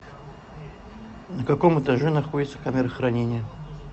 на каком этаже находится камера хранения